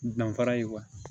Danfara ye